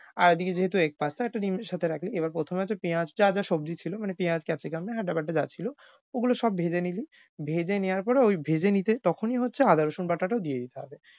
আর এদিকে যেহেতু egg pasta একটা ডিম এর সাথে রাখলি। এবার প্রথমে আছে পেঁয়াজ যা যা সবজি ছিল মানে পেঁয়াজ capsicum আর আদা বাটা যা ছিল গুলো সব ভেজে নিলি। ভেজে নেওয়ার পরে ঐ ভেজে নিতেই তখনি হচ্ছে আদা রসুন বাটাটাও দিয়ে দিতে হবে।